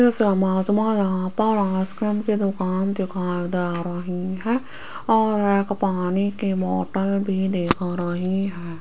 इस इमेज में यहां पर आईसक्रीम की दुकान दिखाई दे रही है और एक पानी की बोटल भी दिख रही है।